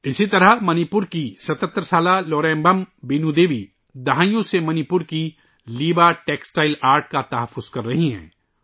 اسی طرح منی پور سے تعلق رکھنے والی 77 سالہ لوریبم بینو دیوی کئی دہائیوں سے منی پور کے لیبا ٹیکسٹائل آرٹ کا تحفظ کر رہی ہیں